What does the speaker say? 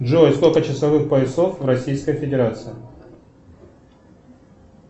джой сколько часовых поясов в российской федерации